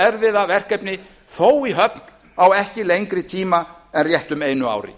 erfiða verkefni þó í höfn á ekki lengri tíma en réttu einu ári